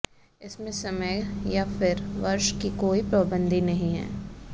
इसमें समय या फिर वर्ष की कोई पाबंदी नहीं है